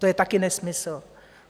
To je taky nesmysl.